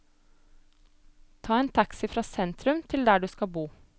Ta en taxi fra sentrum til der du skal bo.